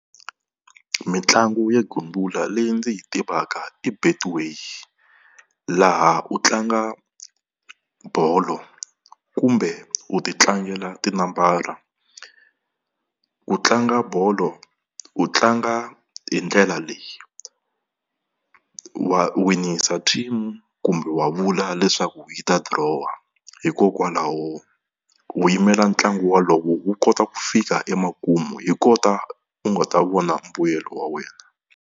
Mitlangu yo gembula leyi ndzi yi tivaka i Betway, laha u tlanga bolo kumbe u ti tlangela tinambara. Ku tlanga bolo u tlanga hi ndlela leyi wa winisa team kumbe wa vula leswaku yi ta dirowa, hikokwalaho wu yimela ntlangu wolowo wu kota ku fika emakumu hi kota u nga ta vona mbuyelo wa wena.